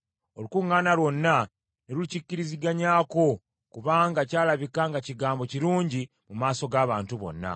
Olukuŋŋaana lwonna ne likikiriziganyako, kubanga ky’alabika nga kigambo kirungi mu maaso g’abantu bonna.